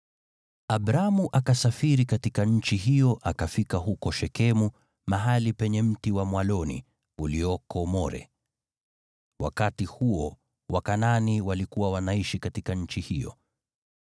Abramu akasafiri katika nchi hiyo akafika huko Shekemu, mahali penye mti wa mwaloni ulioko More. Wakati huo Wakanaani walikuwa wanaishi katika nchi hiyo.